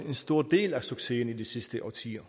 en stor del af succesen i de sidste årtier